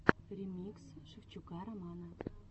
ремикс шевчука романа